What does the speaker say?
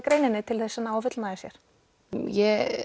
greininni til að ná að fullnægja sér